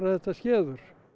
þetta skeður